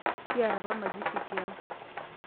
Kiata apamazishi tiang'.